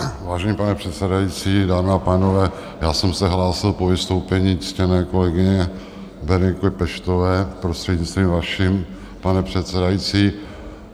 Vážený pane předsedající, dámy a pánové, já jsem se hlásil po vystoupení ctěné kolegyně Bereniky Peštové, prostřednictvím vaším, pane předsedající.